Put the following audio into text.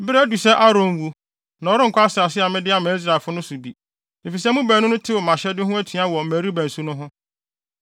“Bere adu sɛ Aaron wu, na ɔrenkɔ asase a mede ama Israelfo no so bi, efisɛ mo baanu no tew mʼahyɛde ho atua wɔ Meriba nsu no ho.